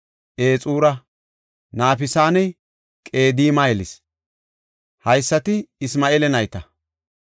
Ixura, Nafisanne Qedima yelis. Haysati Isma7eela nayta.